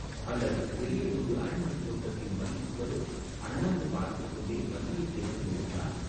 அல்லது பெரியதொரு அரண்மனைத் தோட்டத்தின் மதில் சுவரோ அண்ணாந்து பார்த்துக்கொண்டே வந்தியத்தேவன் எழுந்தான்.